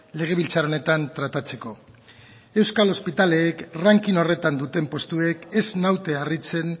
legebiltzar honetan tratatzeko euskal ospitaleek ranking horretan duten postuek ez naute harritzen